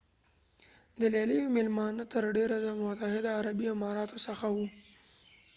د لیلیو میلمانه تر ډیره د متحده عربي امارتو څخه وو